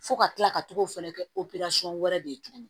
Fo ka kila ka tugu fɛnɛ kɛ wɛrɛ de ye tuguni